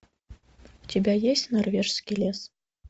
у тебя есть норвежский лес